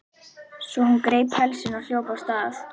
Svo hún greip pelsinn og hljóp af stað.